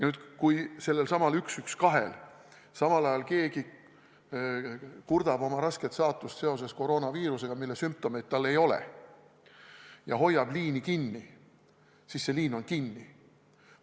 Kui nüüd sellelsamal telefonil 112 keegi kurdab oma rasket saatust seoses koroonaviirusega, mille sümptomeid tal ei ole, siis ta hoiab ilmaaegu seda liini kinni.